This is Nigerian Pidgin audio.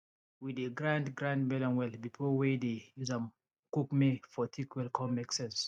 we dey grind grind melon well before wey dey use am cook may for thick well con make sense